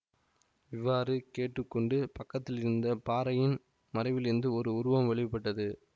இவ்வாறு கேட்டு கொண்டு பக்கத்திலிருந்த பாறையின் மறைவிலிருந்து ஓர் உருவம் வெளி பட்டது